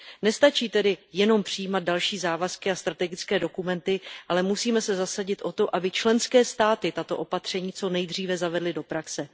Nestačí tedy jen přijímat další závazky a strategické dokumenty, ale musíme se zasadit o to, aby členské státy tato opatření co nejdříve zavedly do praxe.